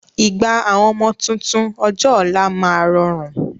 Ìgbà àwọn ọmọ tuntun ọjọ́ ọ̀la máa rọrùn